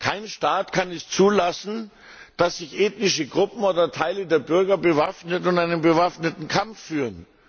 Kein Staat kann es zulassen, dass sich ethnische Gruppen oder Teile der Bürger bewaffnen und einen bewaffneten Kampf führen.